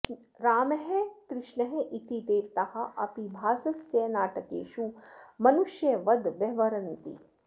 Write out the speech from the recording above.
रामः कृष्णः इति देवताः अपि भासस्य नाटकेषु मनुष्यवद् व्यवहरन्ति